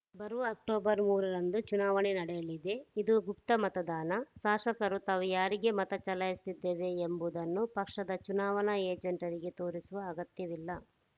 ಬರುವ ಅಕ್ಟೋಬರ್‌ ಮೂರರಂದು ಚುನಾವಣೆ ನಡೆಯಲಿದೆ ಇದು ಗುಪ್ತ ಮತದಾನ ಶಾಸಕರು ತಾವು ಯಾರಿಗೆ ಮತ ಚಲಾಯಿಸುತ್ತಿದ್ದೇವೆ ಎಂಬುದನ್ನು ಪಕ್ಷದ ಚುನಾವಣಾ ಏಜೆಂಟರಿಗೆ ತೋರಿಸುವ ಅಗತ್ಯವಿಲ್ಲ